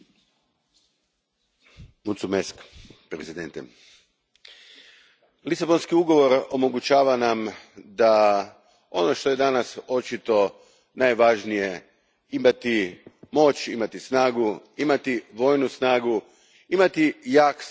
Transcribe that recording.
Gospodine predsjedniče, Lisabonski ugovor omogućava nam ono što je danas očito najvažnije imati moć, imati snagu, imati vojnu snagu, imati jak sigurnosno obavještajni sustav.